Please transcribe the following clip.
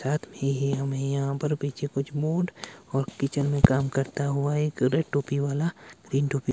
रात मे ये हमे यहां पर पीछे कुछ मूड और किचन मे काम करता हुआ एक रेड टोपी वाला ग्रीन टोपी--